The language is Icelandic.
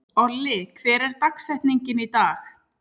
Olli, hver er dagsetningin í dag?